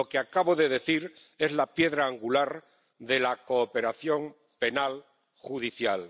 Lo que acabo de decir es la piedra angular de la cooperación penal judicial.